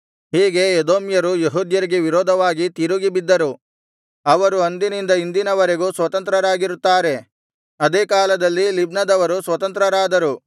ಹೀಗೆ ಎದೋಮ್ಯರು ಯೆಹೂದ್ಯರಿಗೆ ವಿರೋಧವಾಗಿ ತಿರುಗಿ ಬಿದ್ದರು ಅವರು ಅಂದಿನಿಂದ ಇಂದಿನವರೆಗೂ ಸ್ವತಂತ್ರರಾಗಿರುತ್ತಾರೆ ಅದೇ ಕಾಲದಲ್ಲಿ ಲಿಬ್ನದವರು ಸ್ವತಂತ್ರರಾದರು